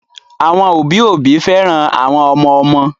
Àwọn òbí òbí féràn àwọn ọmọ ọmọ